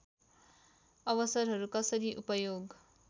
अवसरहरू कसरी उपयोग